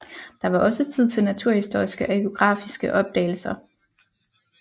Der var også tid til naturhistoriske og geografiske opdagelser